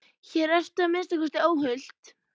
Hér ertu að minnsta kosti óhult.